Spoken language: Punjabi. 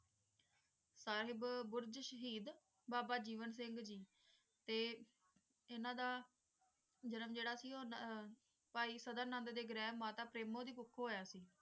ਸਾਹਿਬ ਬੁਰਜ ਸ਼ਹੀਦ ਬਾਬਾ ਜੀਵਨ ਸਿੰਘ ਜੀ. ਤੇ ਇਨ੍ਹਾਂ ਦਾ ਜਨਮ ਜੇਰਾ ਸੀ ਉਹ ਪੈ ਸਦਾ ਨੰਦ ਦਈ ਗ੍ਰਿਹਿ ਮਾਤਾ ਦੀ ਪੇਰੋਮਓ ਕੁੱਖ ਹੋਇਆ ਸੀ